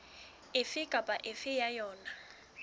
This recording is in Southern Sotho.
efe kapa efe ya yona